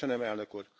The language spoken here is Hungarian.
Köszönöm, Elnök Úr!